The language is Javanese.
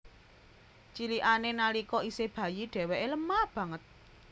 Cilikané nalika isih bayi dhéwéké lemah banget